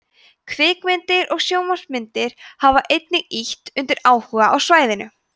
kvikmyndir og sjónvarpsmyndir hafa einnig ýtt undir áhuga á svæðinu